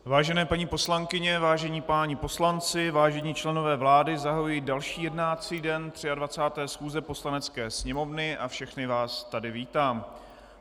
Vážené paní poslankyně, vážení páni poslanci, vážení členové vlády, zahajuji další jednací den 23. schůze Poslanecké sněmovny a všechny vás tady vítám.